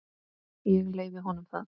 Ég leyfi honum það.